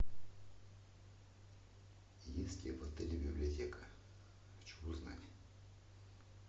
есть ли в отеле библиотека хочу узнать